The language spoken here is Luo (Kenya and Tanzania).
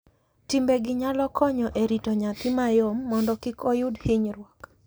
Timbe gi nyalo konyo e rito nyathi mayom mondo kik oyud hinyruok,